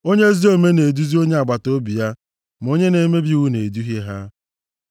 Onye ezi omume na-eduzi onye agbataobi ya, ma onye na-emebi iwu na-eduhie ha.